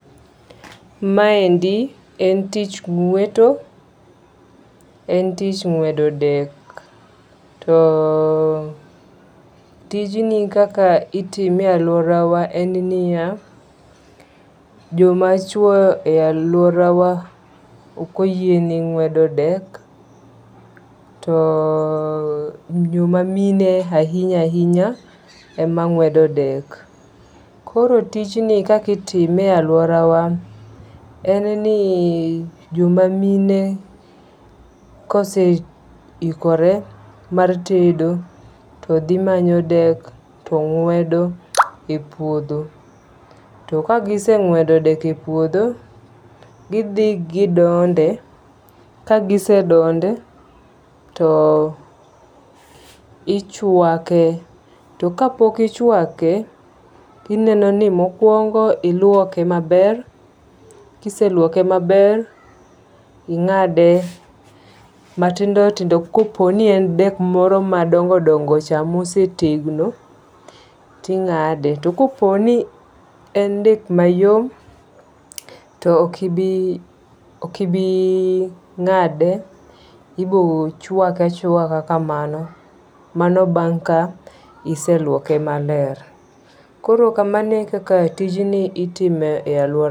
Ma endi en tich ng'weto. En tich ng'wedo dek. To tijni kaka itime e aluora wa en niya, joma chuo e aluoora wa ok oyiene ng'wedo dek. To jomamine ahinya ahinya ema ng'wedo dek. Koro tijni kaka itime e aluora wa en ni joma mine kose ikore mar tedo to dhi manyo dek to ng'wedo e puodho. To kagiseng'wedo dek e puodho, gidhi gidonde. Kagise donde, to ichwake. To kapok ichwake tineno ni mokwongo ilwoke maber. Kiselwoke maber ing'ade matindo tindo. Kopo ni en dek moro madongo dongo cha mosetegno ti ng'ade. Tokopo ni en dek mayom, to ok ibi ng'ade, ibochwake chwaka kamano. Mano bang' ka iselwoke maler. Koro kamano ekaka tijni itime e aluora.